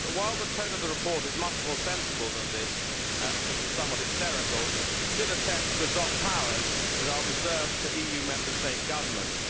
But, while the tone of the report is much more sensible than this which was somewhat hysterical it still attempts to adopt powers that are reserved to EU Member State governments.